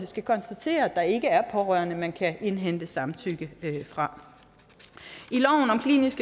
skal konstatere at der ikke er pårørende som man kan indhente samtykke fra